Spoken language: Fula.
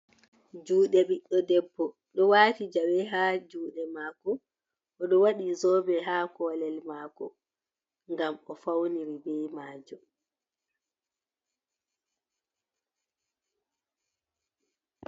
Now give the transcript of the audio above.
Juɗe ɓiɗɗo debbo ɗo wati jawe ha juɗe mako, oɗo waɗi zobe ha kolel mako ngam o'fauniri be majum.